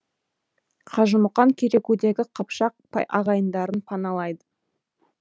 қажымұқан керекудегі қыпшақ ағайындарын паналайды